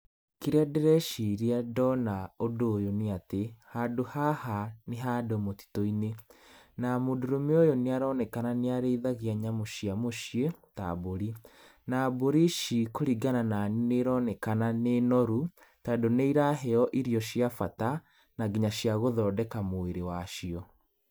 Kĩrĩa ndĩreciria ndona ũndũ ũyũ nĩ atĩ, handũ haha nĩ handũ mũtĩtũ-inĩ, na mũndũrume ũyũ nĩaronekana nĩ arĩithagia nyamũ cia mũciĩ ta mbũri, na mbũri ici kũringana na niĩ nĩironekana nĩ noru tondũ nĩiraheo irio cia bata na nginya cia gũthondeka mwĩrĩ wacio.